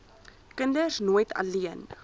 kinders nooit alleen